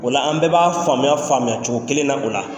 Ola an bɛɛ b'a faamuya faamuyacogo kelen na o la.